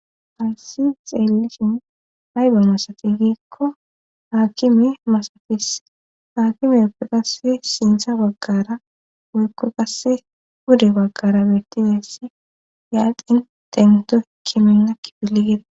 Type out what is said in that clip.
hayi xeellishin haybe masati giikko haakimi masates haakimeyekko qasse sintha baggara woykko qasse gunde baggara beettideesse yaaqin tento kiminna kipili gida